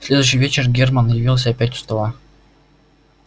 в следующий вечер герман явился опять у стола